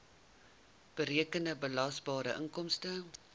berekende belasbare inkomste